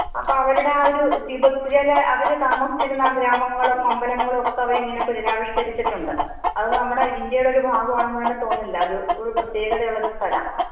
അപ്പോ അവരുടെ ആ ഒരു ടിബെറ്റിലെ അവർ താമസിച്ചിരുന്ന ഗ്രാമങ്ങളും അമ്പലങ്ങളും ഒക്കെ അവരിങ്ങനെ പുനരാവിഷ്കരിച്ചിട്ടുണ്ട്. അത് നമ്മുടെ ഇന്ത്യയുടെ ഒരു ഭാഗമാണെന്ന് തന്നെ തോന്നില്ല. ഒരു പ്രത്യേകത ഉള്ളോരു സ്ഥല.